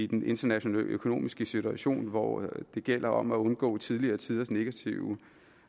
den internationale økonomiske situation hvor det gælder om at undgå tidligere tiders negative